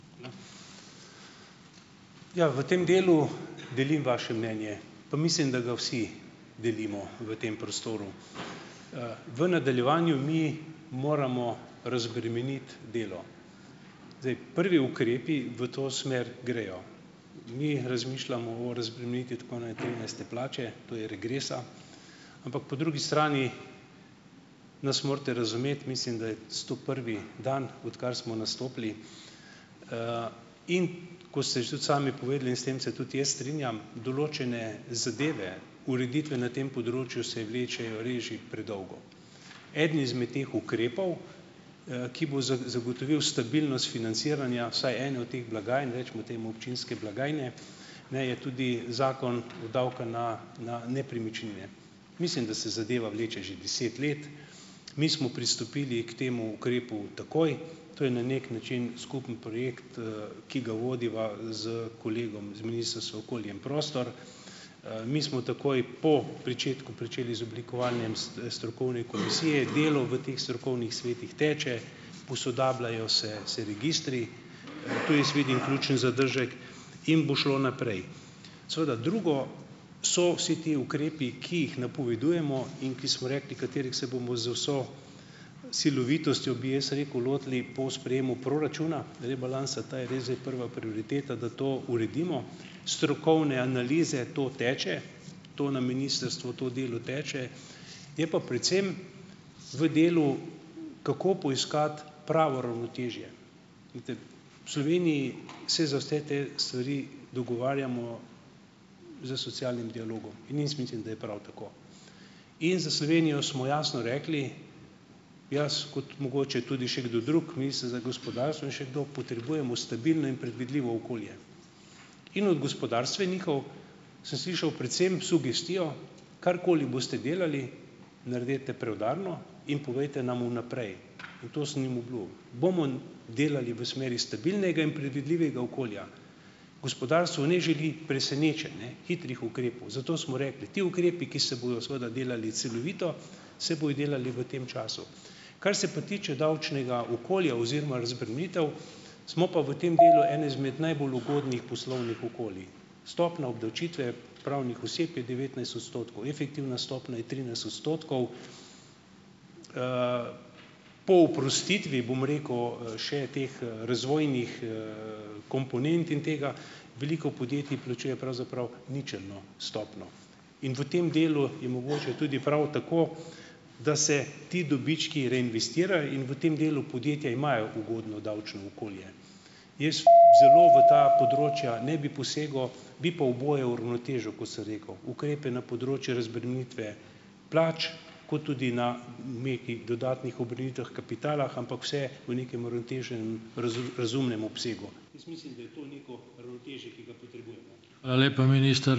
Ja, v tem delu delim vaše mnenje, pa mislim, da ga vsi delimo v tem prostoru. V nadaljevanju mi moramo razbremeniti delo. Zdaj, prvi ukrepi v to smer grejo. Mi razmišljamo o razbremenitvi tako trinajste plače, to je regresa, ampak po drugi strani nas morate razumeti. Mislim, da je stoprvi dan, odkar smo nastopili, in ko ste že tudi sami povedali, in s tem se tudi jaz strinjam, določene zadeve, ureditve na tem področju se vlečejo res že predolgo. Eden izmed teh ukrepov, ki bo za zagotovil stabilnost financiranja vsaj ene od teh blagajn, recimo temu občinske blagajne, ne, je tudi Zakon o davku na na nepremičnine. Mislim, da se zadeva vleče že deset let. Mi smo pristopili k temu ukrepu takoj. To je na neki način skupen projekt, ki ga vodiva s kolegom z Ministrstva okolje in prostor. Mi smo takoj po pričetku pričeli z oblikovanjem s strokovne komisije. Delo v teh strokovnih svetih teče, posodabljajo se se registri, tu jaz vidim ključen zadržek, in bo šlo naprej. Seveda, drugo so vsi ti ukrepi, ki jih napovedujemo in ki smo rekli, katerih se bomo z vso silovitostjo, bi jaz rekel, lotili po sprejemu proračuna rebalansa. Ta je res zdaj prva prioriteta, da to uredimo. Strokovne analize, to teče, to na ministrstvu to delo teče. Je pa predvsem v delu, kako poiskati pravo ravnotežje. Glejte, v Sloveniji se za vse te stvari dogovarjamo s socialnim dialogom in jaz mislim, da je prav tako. In za Slovenijo smo jasno rekli, jaz kot mogoče tudi še kdo drug, minister za gospodarstvo in še kdo, potrebujemo stabilno in predvidljivo okolje. In od gospodarstvenikov sem slišal predvsem sugestijo, karkoli boste delali, naredite preudarno in povejte nam vnaprej. In to sem jim obljubil. Bomo delali v smeri stabilnega in predvidljivega okolja. Gospodarstvo ne želi presenečenj, ne hitrih ukrepov. Zato smo rekli, ti ukrepi, ki se bojo seveda delali celovito, se bojo delali v tem času. Kar se pa tiče davčnega okolja oziroma razbremenitev, smo pa v tem delu eno izmed najbolj ugodnih poslovnih okolij. Stopnja obdavčitve pravnih oseb je devetnajst odstotkov, efektivna stopnja je trinajst odstotkov. Po oprostitvi, bom rekel, še teh, razvojnih, komponent in tega veliko podjetij plačuje pravzaprav ničelno stopnjo. In v tem delu je mogoče tudi prav tako, da se ti dobički reinvestirajo, in v tem delu podjetja imajo ugodno davčno okolje. Jaz zelo v ta področja ne bi posegal, bi pa oboje uravnotežil, kot sem rekel, ukrepe na področju razbremenitve plač, kot tudi na nekih dodatnih obremenitvah kapitala, ampak vse v nekem uravnoteženem, razumem razumnem obsegu. Jaz mislim, da je to neko ravnotežje, ki ga potrebujemo.